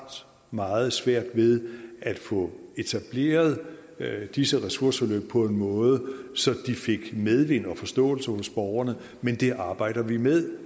meget svært ved at få etableret disse ressourceforløb på en måde så de fik medvind og forståelse hos borgerne men det arbejder vi med